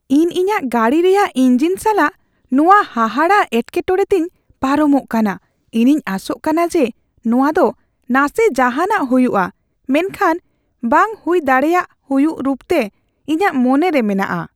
ᱤᱧ ᱤᱧᱟᱹᱜ ᱜᱟᱹᱰᱤ ᱨᱮᱭᱟᱜ ᱤᱧᱡᱤᱱ ᱥᱟᱞᱟᱜ ᱱᱚᱶᱟ ᱦᱟᱦᱟᱲᱟᱜ ᱮᱴᱠᱮᱴᱚᱲᱮ ᱛᱮᱧ ᱯᱟᱨᱚᱢᱚᱜ ᱠᱟᱱᱟ ᱾ ᱤᱧᱤᱧ ᱟᱥᱚᱜ ᱠᱟᱱᱟ ᱡᱮ ᱱᱚᱶᱟ ᱫᱚ ᱱᱟᱥᱮ ᱡᱟᱦᱟᱱᱟᱜ ᱦᱩᱭᱩᱜᱼᱟ, ᱢᱮᱱᱠᱷᱟᱱ ᱵᱟᱝ ᱦᱩᱭ ᱫᱟᱲᱮᱭᱟᱜ ᱦᱩᱭᱩᱜ ᱨᱩᱯᱛᱮ ᱤᱧᱟᱹᱜ ᱢᱚᱱᱮᱨᱮ ᱢᱮᱱᱟᱜᱼᱟ ᱾